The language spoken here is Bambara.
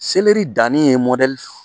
Seleri danni ye